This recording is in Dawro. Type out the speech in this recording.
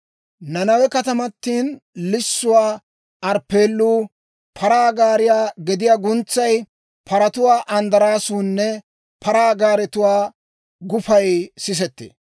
Nanawe katamatin lissuwaa arppeelluu, paraa gaariyaa gediyaa guntsay, paratuwaa anddaraasuunne paraa gaaretuwaa gufay sisettee.